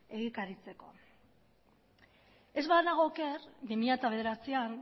egikaritzeko ez banago oker bi mila bederatzian